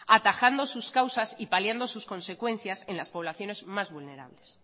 atajando sus causas y paliando sus consecuencias en las poblaciones más vulnerables